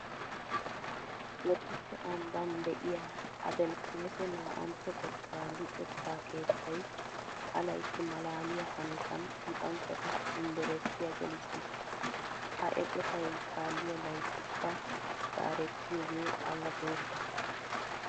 Bodditte ambban de'iya Adelfoose 2tto xekkaa luxetta keettay ha laytti maalaaliya hanotan luxanchchata yunveresttiya gelissiis. Ha eqotay kaalliya layttikka zaarettiyogee awa bootta.